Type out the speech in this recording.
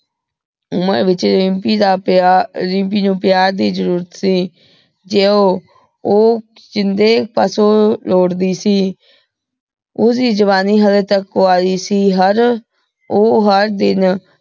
ਉਮਰ ਵਿਚ ਰਿਮਪੀ ਦਾ ਪ੍ਯਾਰ ਰਿਮਪੀ ਨੂੰ ਪਯਾਰ ਦੀ ਜ਼ਰੁਰਤ ਸੀ ਸ਼ਿੰਦੇ ਪਾਸੋ ਲੋਟਦੀ ਸੀ ਓਹਦੀ ਜਵਾਨੀ ਹਲੇ ਤਕ ਕੰਵਾਰੀ ਸੀ ਹਰ ਓਹ ਹਰ ਦਿਨ